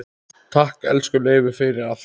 Takk, elsku Leifur, fyrir allt.